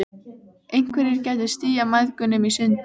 Einhverjir gætu stíað mæðgunum í sundur.